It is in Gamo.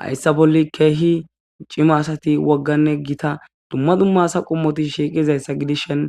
Hayssa bolli kehi ciimma asati woggane giita dumma dumma asa qommoti shiqqizayssa giddishin